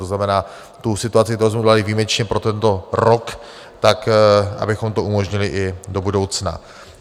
To znamená, tu situaci, kterou jsme udělali výjimečně pro tento rok, tak abychom to umožnili i do budoucna.